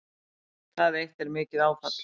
Það eitt er mikið áfall